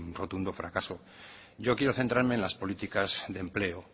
rotundo fracaso yo quiero centrarme en las políticas de empleo